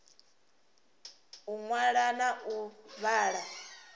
u ṅwala na u vhala